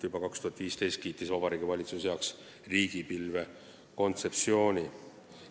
Juba 2015. aastal kiitis Vabariigi Valitsus heaks riigipilve kontseptsiooni.